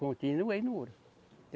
Continuei no ouro.